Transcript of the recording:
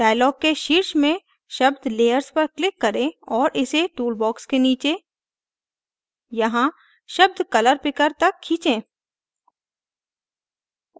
dialog के शीर्षक में शब्द layers पर click करें और इसे toolbox के नीचे यहाँ शब्द color picker तक खींचें